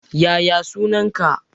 Yaya sunan ka?